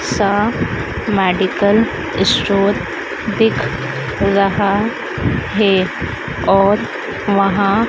सा medical store दिख रहा है और वहां--